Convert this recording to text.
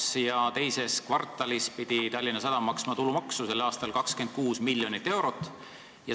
Selle aasta teises kvartalis pidi Tallinna Sadam maksma 26 miljonit eurot tulumaksu.